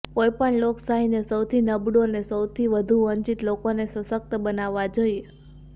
કોઈપણ લોકશાહીને સૌથી નબળું અને સૌથી વધુ વંચિત લોકોને સશક્ત બનાવવા જોઇએ